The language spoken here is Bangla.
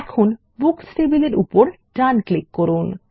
এখন বুকস টেবিলের উপর ডান ক্লিক করুন